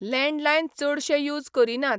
Landline चडशे use करिनात.